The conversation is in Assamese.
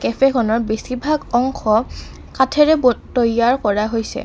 কেফে খনৰ বেছিভাগ অংশ কাঠেৰে ব তৈয়াৰ কৰা হৈছে।